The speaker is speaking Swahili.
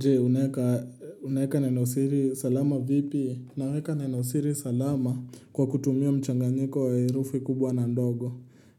Je, unaeka unaeka neno siri salama vipi? Naweka neno siri salama kwa kutumia mchanganyiko wa herufi kubwa na ndogo.